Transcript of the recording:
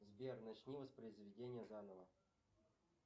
сбер начни воспроизведение заново